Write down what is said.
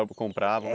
Ou comprava?